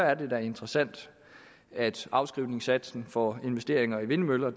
er det da interessant at afskrivningssatsen for investeringer i vindmøller